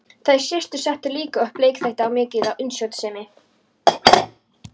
Þær systur settu líka upp leikþætti af mikilli útsjónarsemi.